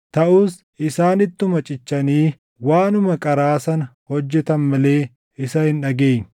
Taʼus isaan ittuma cichanii waanuma qaraa sana hojjetan malee isa hin dhageenye.